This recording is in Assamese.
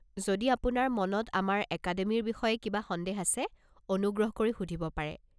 যদি আপোনাৰ মনত আমাৰ একাডেমিৰ বিষয়ে কিবা সন্দেহ আছে, অনুগ্ৰহ কৰি সুধিব পাৰে।